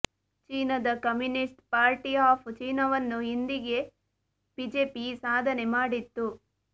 ಚೀನಾದ communist party of ಚೀನಾವನ್ನು ಹಿಂದಿಕ್ಕೆ ಬಿಜೆಪಿ ಈ ಸಾಧನೆ ಮಾಡಿತ್ತು